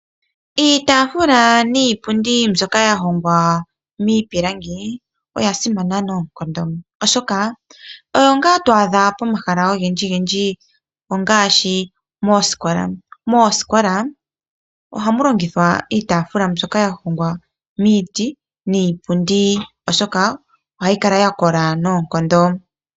Iitafula niipundi mbyoka ya hongwa miipilangi oya simana noonkondo, oshoka oyo ngaa to adha pomahala ogendji ongaashi moosikola. Moosikola ohamu longithwa iitafula mbyoka ya hongwa miiti niipundi, oshoka ohayi kala ya kola noonkondo.